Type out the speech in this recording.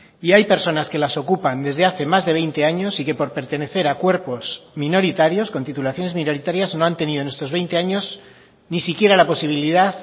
y hay personas que las ocupan desde hace más de veinte años y que por pertenecer a cuerpos minoritarios con titulaciones minoritarias no han tenido en estos veinte años ni siquiera la posibilidad